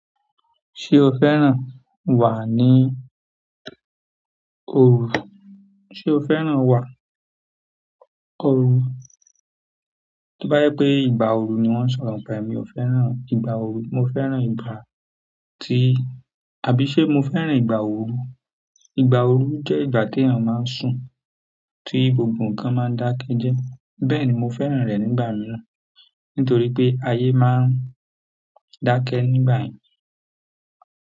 Ṣé o fẹ́ràn wà ní òru? Sé o fẹ́ràn wà òru? Tó bá jẹ́ pé ìgbà ooru ni wọ́n ń sọ̀rọ̀ ńpa ẹ̀, mi ò fẹ́ràn ìgbà ooru. Mo fẹ́ràn ìgbà tí, àbí ṣé mo fẹ́ràn ìgbà òru? Ìgbà òru jẹ́ ìgbà téèyàn máa ń sùn, tí gbogbo nǹkan máa ń dákẹ́ jẹ́ẹ́. Bẹ́ẹ̀ni mo fẹ́ràn rẹ̀ nígbà mìíràn, nítorí pé ayé máa ń dákẹ́ nígbà yẹn.